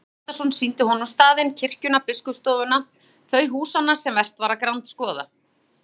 Ólafur Hjaltason sýndi honum staðinn, kirkjuna, biskupsstofuna, þau húsanna sem vert var að grandskoða.